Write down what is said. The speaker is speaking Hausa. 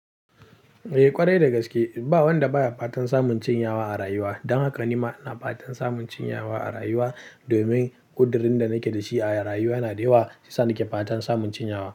Eh kwarai da gaske, ba wanda baya fatan samun cin yawa a rayuwa. Don haka ni ma ina fatan samun cin yawa a rayuwa domin ƙudurin da nake da shi a rayuwa yana da yawa, shiyasa nake fatan samun cin yawa.